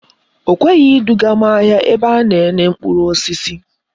O kweghi edugam ahia ebe ana ene mkpuru osisi